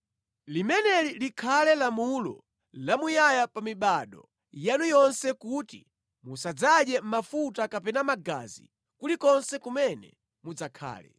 “ ‘Limeneli likhale lamulo lamuyaya pa mibado yanu yonse kuti musadzadye mafuta kapena magazi kulikonse kumene mudzakhale.’ ”